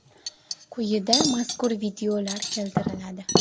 Quyida mazkur videolar keltiriladi.